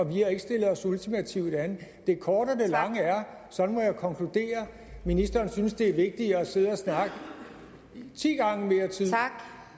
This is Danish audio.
vi har ikke stillet os ultimativt an det korte af det lange er sådan må jeg konkludere at ministeren synes det er vigtigere at sidde og snakke ti gange længere